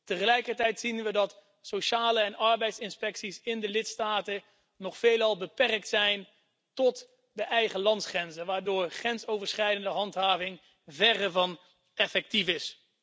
Tegelijkertijd zien we dat sociale en arbeidsinspecties in de lidstaten nog veelal beperkt zijn tot de eigen landsgrenzen, waardoor grensoverschrijdende handhaving verre van effectief is.